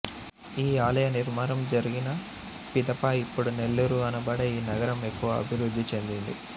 ఈ ఆలయ నిర్మాణం జరిగిన పిదప ఇప్పుడు నెల్లూరు అనబడే ఈ నగరం ఎక్కువగా అభివృద్ధి చెందింది